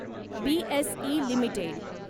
BSE limited